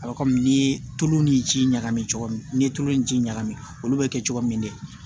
A bɛ komi n'i ye tulu ni ji ɲagami cogo min n'i ye tulu in ji ɲagami olu bɛ kɛ cogo min de